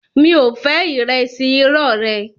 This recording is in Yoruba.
Mi ò fẹ́ ìrẹsì irọ́ rẹ